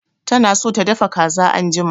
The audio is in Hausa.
Tana so ta dafa kazan anjima